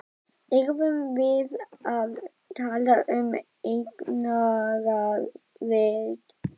Erum við að tala um eignaraðild?